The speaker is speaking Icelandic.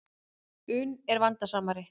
un er vandasamari.